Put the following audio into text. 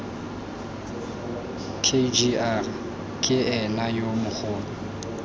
kgr ke ena yo mogolo